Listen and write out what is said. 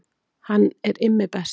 Hann er Immi best